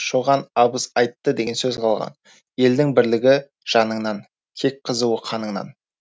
шоған абыз айтты деген сөз қалған елдің бірлігі жаныңнан кек қызуы қаныңнан